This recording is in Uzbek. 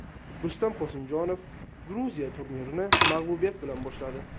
Rustam Qosimjonov Gruziya turnirini mag‘lubiyat bilan boshladi.